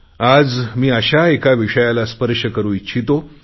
आज मी अशा एका विषयाला स्पर्श करु इच्छितो